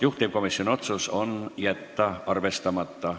Juhtivkomisjoni otsus on jätta arvestamata.